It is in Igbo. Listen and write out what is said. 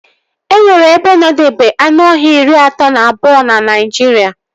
E nwere ebe ndobe anụọhịa iri atọ na abụọ na Naijiria